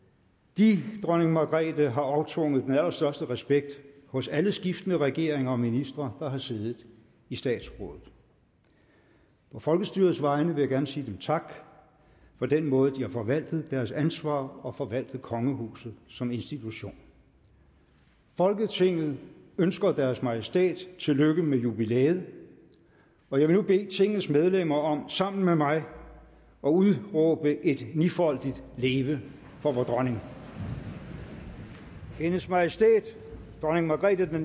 de dronning margrethe har aftvunget den allerstørste respekt hos alle skiftende regeringer og ministre der har siddet i statsrådet på folkestyrets vegne vil jeg gerne sige dem tak for den måde hvorpå de har forvaltet deres ansvar og forvaltet kongehuset som institution folketinget ønsker deres majestæt tillykke med jubilæet og jeg vil nu bede tingets medlemmer om sammen med mig at udråbe et nifoldigt leve for vor dronning hendes majestæt dronning margrethe